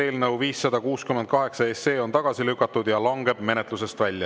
Eelnõu 568 on tagasi lükatud ja langeb menetlusest välja.